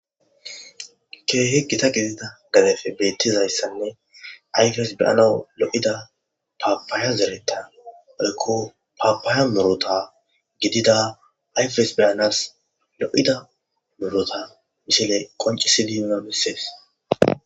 Keehe gita gidida gadefe beettizayssanne ayfes beyana lo7ida paapaaya zereta alko paapaaya murota gidida ayfes beyanas lo7ida murota misile qoncisi diyonalisees